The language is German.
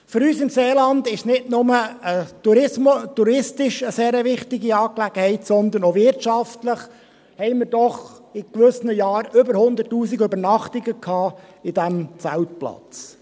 Für uns im Seeland ist er nicht nur touristisch eine sehr wichtige Angelegenheit, sondern auch wirtschaftlich, hatten wir doch in gewissen Jahren über 100’000 Übernachtungen auf diesem Zeltplatz.